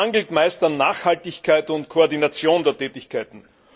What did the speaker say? Es mangelt meist an Nachhaltigkeit und Koordination der Tätigkeiten.